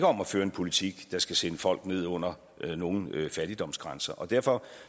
om at føre en politik der skal sende folk ned under nogen fattigdomsgrænser og derfor